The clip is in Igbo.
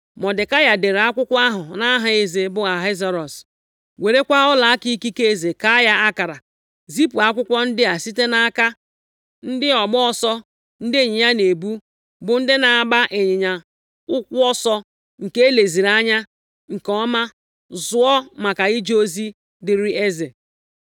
Mọdekai dere akwụkwọ ahụ nʼaha eze, bụ Ahasuerọs, werekwa ọlaaka ikike eze kaa ya akara, zipụ akwụkwọ ndị a site nʼaka + 8:10 Ka ha gaa kesaa nʼobodo niile. ndị ọgba ọsọ ndị ịnyịnya na-ebu, bụ ndị na-agba ịnyịnya ụkwụ ọsọ nke e leziri anya nke ọma zụọ maka ije ozi dịrị eze.